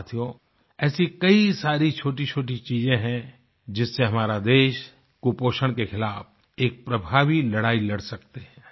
साथियों ऐसी कई सारी छोटीछोटी चीजें हैं जिससे हमारा देश कुपोषण के खिलाफ़ एक प्रभावी लड़ाई लड़ सकते हैं